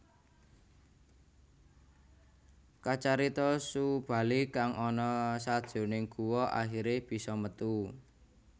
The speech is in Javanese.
Kacarita Subali kang ana sajroning guwa akhiré bisa metu